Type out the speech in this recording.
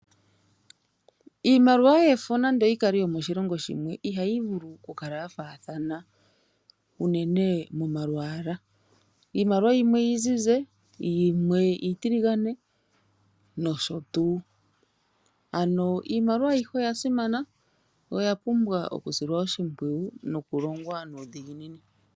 Iimaliwa yefo nande oyi kale yomoshilongo shimwe ihayi vulu oku kala ya faathana unene momalwaala iimaliwa yimwe iizizi yimwe iitiligane nosho tuu. Iimaliwa ayihe oya simana oya pumbwa okusilwa oshimpwiyu nokulongwa nuudhiginini.